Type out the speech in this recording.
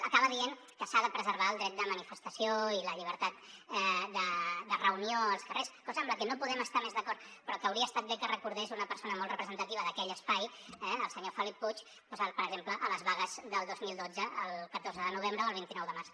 acaba dient que s’ha de preservar el dret de manifestació i la llibertat de reunió als carrers cosa amb la que no podem estar més d’acord però que hauria estat bé que recordés una persona molt representativa d’aquell espai el senyor felip puig doncs per exemple a les vagues del dos mil dotze el catorze de novembre o el vint nou de març